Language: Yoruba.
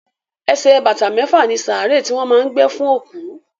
Ẹsẹ̀ bàtà mẹ́fà ni sàárè tí wọ́n má a ń gbé fún òkú.